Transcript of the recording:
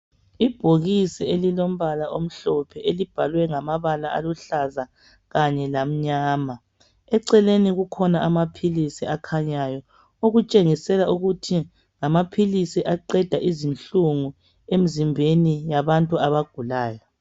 Ibhokisi elilombala omhlophe elibhalwe ngamabala aluhlaza kanye lamnyama, eceleni kukhona amapilisi akhanyayo, okutshengisela ukuthi ngamapilisi aqeda inhlungu emzimbeni yabantu abagulayo.